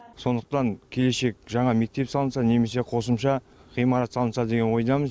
сондықтан келешек жаңа мектеп салынса немесе қосымша ғимарат салынса деген ойдамыз